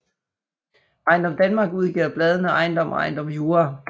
EjendomDanmark udgiver bladene Ejendom og Ejendom Jura